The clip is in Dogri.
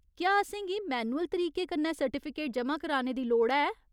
क्या असेंगी मैन्युअल तरीके कन्नै सर्टिफिकेट ज'मा कराने दी लोड़ है ?